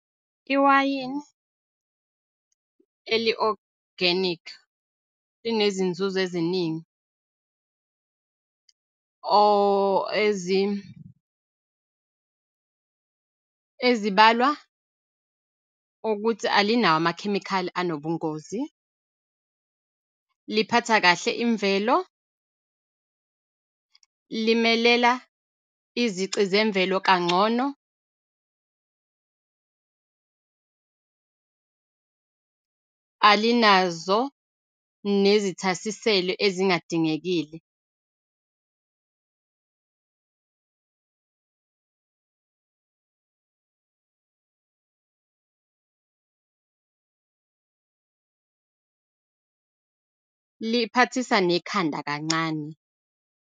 Iwayini eli-organic linezinzuzo eziningi ezibalwa ukuthi alinawo amakhemikhali anobungozi, liphatha kahle imvelo, limelela izici zemvelo kangcono, alinazo nezithasiselo ezingadingekile, liphathisa nekhanda kancane.